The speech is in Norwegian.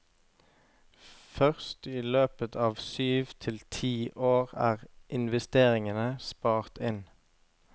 Først i løpet av syv til ti år er investeringene spart inn.